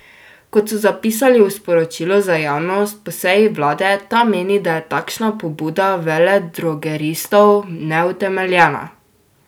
Kot so zapisali v sporočilu za javnost po seji vlade, ta meni, da je takšna pobuda veledrogeristov neutemeljena.